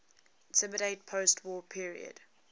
immediate postwar period